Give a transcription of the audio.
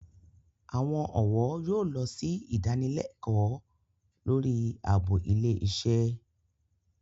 Àwọn ọ̀wọ́ yóò lọ sí ìdanilẹ́kọ̀ọ́ lórí ààbò ilé iṣẹ́